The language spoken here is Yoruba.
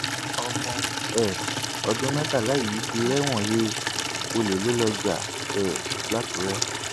ọmọ um ọdún mẹtàlá yìí ti rẹwọn he ọlẹ ló lọọ ja um làkùrẹ